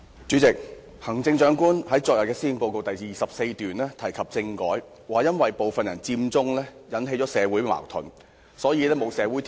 主席，行政長官昨天在施政報告第24段提及政改，指稱因為部分人佔中，引起了社會矛盾，所以缺乏重啟政改的社會條件。